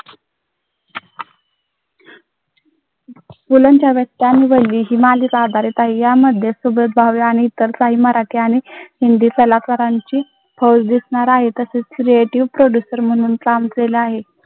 सुबोध भावे इतर काही मराठी आणि हिंदी कलाकारांची म्हणून काम केलं आहे.